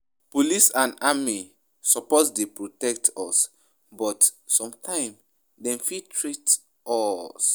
Police and army suppose dey protect us but sometimes dem be threat to us.